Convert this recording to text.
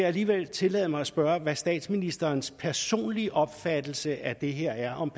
alligevel tillade mig at spørge om hvad statsministerens personlige opfattelse af det her er om